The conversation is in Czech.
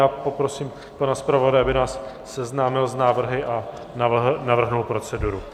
Já poprosím pana zpravodaje, aby nás seznámil s návrhy a navrhl proceduru.